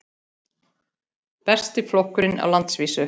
Besti flokkurinn á landsvísu